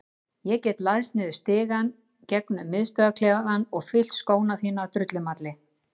Ég get læðst niður stigann gegnum miðstöðvarklefann og fyllt skó þína af drullumalli.